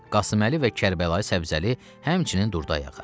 Qasıməli və Kərbəlayı Səbzəli həmçinin durdu ayağa.